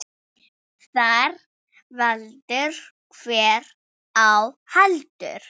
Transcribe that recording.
Þar veldur hver á heldur.